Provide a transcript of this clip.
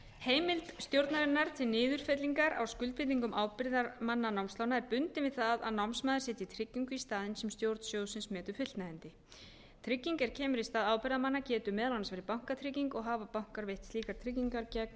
heimild stjórnarinnar til niðurfellingar á skuldbindingum ábyrgðarmanna námslána er bundin við það að námsmaður setji tryggingu í staðinn sem stjórn sjóðsins metur fullnægjandi trygging er kemur í stað ábyrgðarmanna getur meðal annars verið bankatrygging og hafa bankar veitt slíkar tryggingar gegn